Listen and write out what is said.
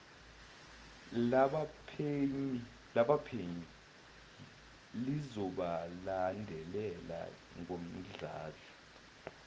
labaphenyi lizobalandela ngomdlandla